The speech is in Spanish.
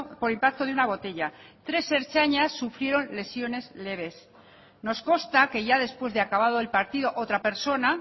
por impacto de una botella tres ertzainas sufrieron lesiones leves nos consta que ya después de acabado el partido otra persona